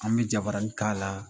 An bɛ jabarani k'ala